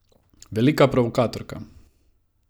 Velika provokatorka.